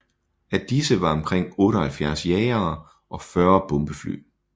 Af disse var omkring 78 jagere og 40 bombefly